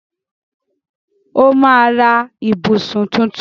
Ó máa ra ìbùsùn tuntun.